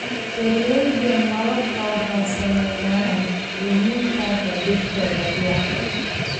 Beeraleyda malabka waxaa saameynaya lumitaanka dhirta dabiiciga ah.